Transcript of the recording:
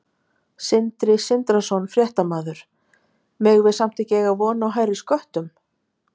Sindri Sindrason, fréttamaður: Megum við samt ekki eiga von á hærri sköttum?